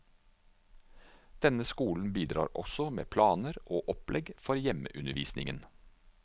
Denne skolen bidrar også med planer og opplegg for hjemmeundervisningen.